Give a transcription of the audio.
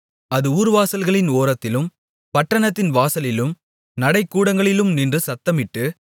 அது ஊர்வாசல்களின் ஓரத்திலும் பட்டணத்தின் வாசலிலும் நடை கூடங்களிலும் நின்று சத்தமிட்டு